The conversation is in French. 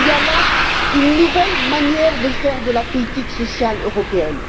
Il y a là une nouvelle manière de faire de la politique sociale européenne.